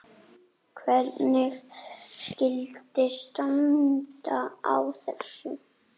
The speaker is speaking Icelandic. Það mun hafa jákvæð áhrif.